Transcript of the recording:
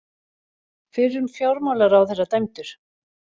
Fyrrum fjármálaráðherra dæmdur